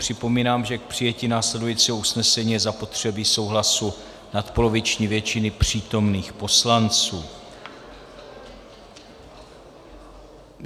Připomínám, že k přijetí následujícího usnesení je zapotřebí souhlasu nadpoloviční většiny přítomných poslanců.